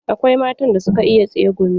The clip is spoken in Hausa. Akwai matan da suka iya tsegumi.